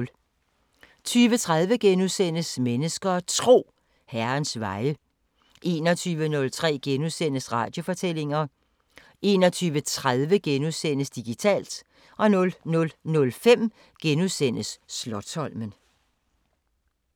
20:30: Mennesker og Tro: Herrens veje * 21:03: Radiofortællinger * 21:30: Digitalt * 00:05: Slotsholmen *